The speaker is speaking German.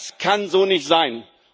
Das kann so nicht sein!